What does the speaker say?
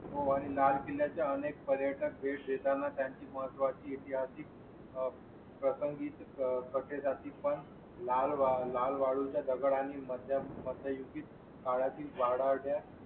पुण्या च्या अनेक पर्यटक भेट देताना त्यांची महत्वा ची ऐतिहासिक आह प्रसंगीच कथेचा ती पण. लाल लाल वाळू च्या दगडा आणि माझ्या मध्ययुगीन काळातील वाढत्या